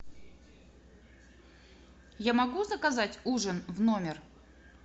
я могу заказать ужин в номер